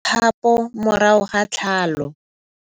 kgapô morago ga tlhalô.